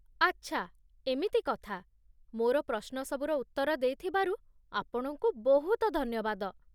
ଆଚ୍ଛା, ଏମିତି କଥା। ମୋର ପ୍ରଶ୍ନ ସବୁର ଉତ୍ତର ଦେଇଥିବାରୁ ଆପଣଙ୍କୁ ବହୁତ ଧନ୍ୟବାଦ।